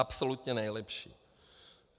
Absolutně nejlepší.